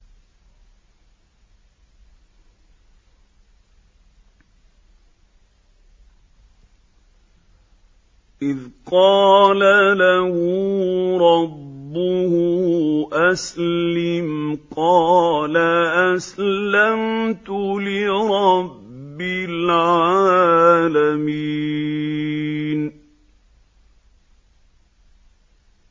إِذْ قَالَ لَهُ رَبُّهُ أَسْلِمْ ۖ قَالَ أَسْلَمْتُ لِرَبِّ الْعَالَمِينَ